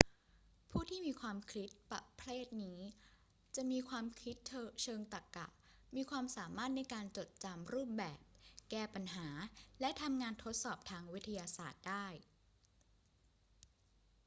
ผู้ที่มีความคิดประเภทนี้จะมีความคิดเชิงตรรกะ มีความสามารถในการจดจำรูปแบบ แก้ปัญหา และทำงานทดสอบทางวิทยาศาสตร์ได้